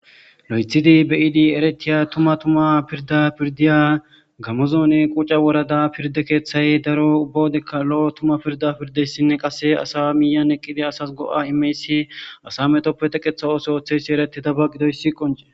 lo'ethidi beyidi eretiya tuma tuma pirda pirdiya gamozoone quca worada pirde keeththay daro ubbawodekka lo'o tuma pirda pirdeyssinne qase asa miyan eqqidi asas go'a imeyssi asa metoppe tekeththa ooso ooththeysi eretidaba gidoyssi qoncee